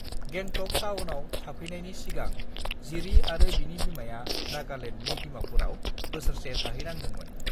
गेंटक टाउनआव थाफैनायनि सिगां जिरि आरो बिनि बिमाया नागालेण्डनि डिमापुराव बोसोरसे थाहैनांदोंमोन